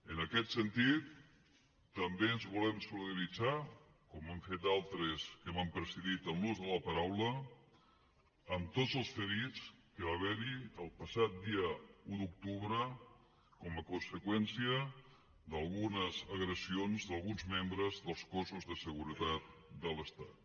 en aquest sentit també ens volem solidaritzar com han fet altres que m’han precedit en l’ús de la paraula amb tots els ferits que va haver hi el passat dia un d’octubre com a conseqüència d’algunes agressions d’alguns membres dels cossos de seguretat de l’estat